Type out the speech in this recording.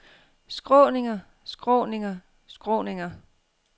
skråninger skråninger skråninger